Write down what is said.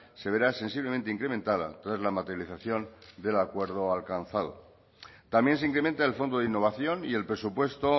se verá sensiblemente incrementada tras la materialización del acuerdo alcanzado también se incrementa el fondo de innovación y el presupuesto